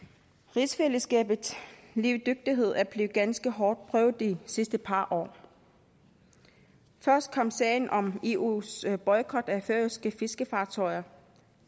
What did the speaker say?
rigsfællesskabets levedygtighed er blevet ganske hårdt prøvet i de sidste par år først kom sagen om eus boykot af færøske fiskefartøjer